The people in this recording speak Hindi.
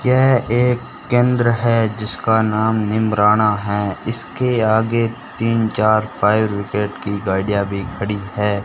यह एक केंद्र है जिसका नाम नीमराणा है इसके आगे तीन चार फायर ब्रिगेड की गाड़ियां भी खड़ी है।